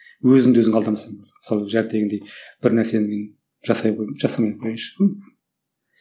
өзіңді өзің алдамасаң мысалы бір нәрсені мен жасай қояйын жасамай қояйыншы